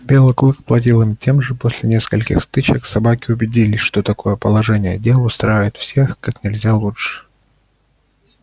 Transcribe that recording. белый клык платил им тем же и после нескольких стычек собаки убедились что такое положение дел устраивает всех как нельзя лучше